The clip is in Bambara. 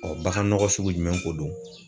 bagan nɔgɔ sugu jumɛn ko don?